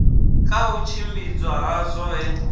ka u tshimbidzwa ha zwoṱhe